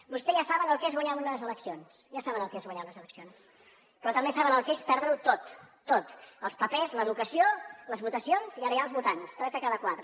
vostès ja saben què és guanyar unes eleccions ja saben el que és guanyar unes eleccions però també saben el que és perdre ho tot tot els papers l’educació les votacions i ara ja els votants tres de cada quatre